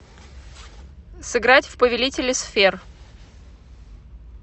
сыграть в повелители сфер